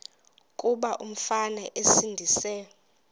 kuba umfana esindise